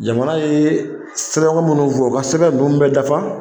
Jamana ye sɛbɛn minnu fɔ u ka sɛbɛn ninnu bɛ dafa